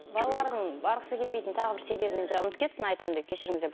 балалардың барғысы келмейтін тағы бір себебін мен жаңа ұмытып кетіппін айтамын деп кешіріңіздер